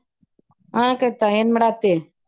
ಹಾ ಕವಿತ ಏನ್ ಮಾಡಾಕತ್ತಿ?